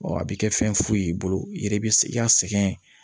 a bɛ kɛ fɛn foyi y'i bolo i yɛrɛ bɛ i ka sɛgɛn